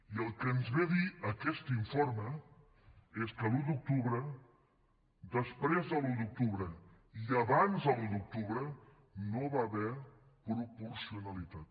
i el que ens ve a dir aquest informe és que l’un d’octubre després de l’un d’octubre i abans de l’un d’octubre no hi va haver proporcionalitat